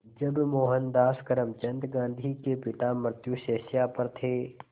जब मोहनदास करमचंद गांधी के पिता मृत्युशैया पर थे